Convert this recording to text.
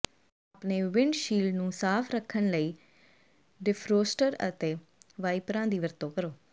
ਆਪਣੇ ਵਿੰਡਸ਼ੀਲਡ ਨੂੰ ਸਾਫ ਰੱਖਣ ਲਈ ਡਿਫਰੋਸਟਰ ਅਤੇ ਵਾਈਪਰਾਂ ਦੀ ਵਰਤੋਂ ਕਰੋ